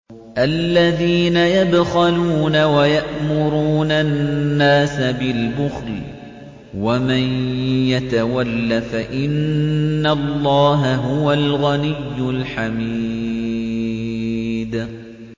الَّذِينَ يَبْخَلُونَ وَيَأْمُرُونَ النَّاسَ بِالْبُخْلِ ۗ وَمَن يَتَوَلَّ فَإِنَّ اللَّهَ هُوَ الْغَنِيُّ الْحَمِيدُ